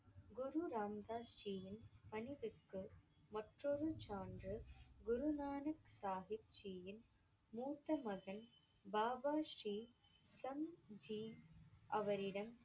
குரு ராம தாஸ் ஜியின் பணிவிற்கு மற்றொரு சான்றுக் குரு நானக் சாஹிப் ஜியின் மூத்த மகன் பாபா ஸ்ரீ சம் ஜி அவரிடம்